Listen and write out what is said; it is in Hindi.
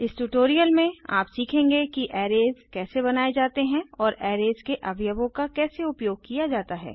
इस ट्यूटोरियल में आप सीखेंगे कि अरेज कैसे बनाये जाते हैं और अरेज के अवयवों का कैसे उपयोग किया जाता है